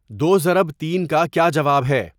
دو ضرب تین کا کیا جواب ہے